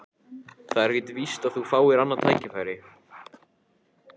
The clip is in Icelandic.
Það er ekkert víst að þú fáir annað tækifæri